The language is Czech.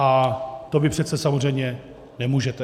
A to vy přece samozřejmě nemůžete.